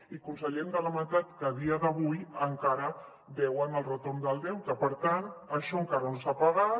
i conseller hem de lamentar que a dia d’avui encara deuen el retorn del deute per tant això encara no s’ha pagat